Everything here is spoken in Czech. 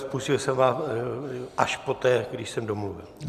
Spustil jsem vám až poté, když jsem domluvil.